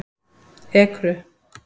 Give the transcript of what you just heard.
Ekru